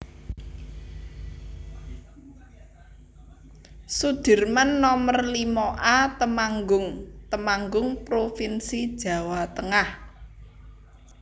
Sudirman Nomer limo A Temanggung Temanggung provinsi Jawa Tengah